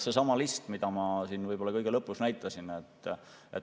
Seesama list, mida ma siin kõige lõpus näitasin.